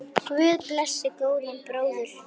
Guð blessi góðan bróður!